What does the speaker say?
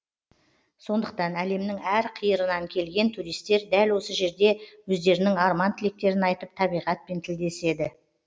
сондықтан әлемнің әрқиырынан келген туристер дәл осы жерде өздерінің арман тілектерін айтып табиғатпен тілдеседі